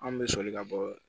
Anw bɛ soli ka bɔ